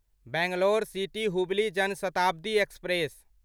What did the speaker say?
Bangalore city Hubli Jan Shatabdi express